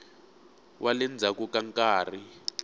wa le ndzhaku ka nkarhi